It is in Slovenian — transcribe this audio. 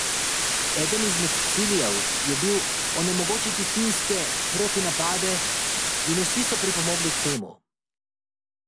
Eden izmed ciljev je bil onemogočiti finske protinapade in vsi so pripomogli k temu.